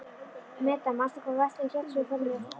Meda, manstu hvað verslunin hét sem við fórum í á fimmtudaginn?